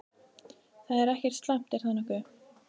Það er ekkert slæmt, er það nokkuð?